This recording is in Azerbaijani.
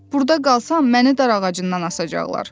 Burada qalsam məni darağacından asacaqlar.